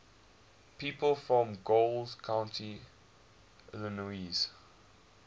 people from coles county illinois